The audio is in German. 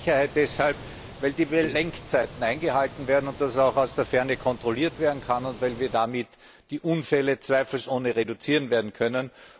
Ein Mehr an Sicherheit deshalb, weil die Lenkzeiten eingehalten werden und das auch aus der Ferne kontrolliert werden kann, und weil wir damit die Unfälle zweifelsohne reduzieren werden können